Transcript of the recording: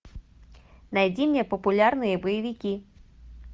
найди мне популярные боевики